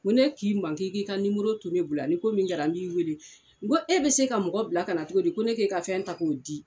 Ŋo ne k'i ma n k'i k'i ka nimoro to ne bola ni ko min kɛra n b'i weele, nko e be se ka mɔgɔ bila kana cogo di ko ne k'i ka fɛn ta k'o di?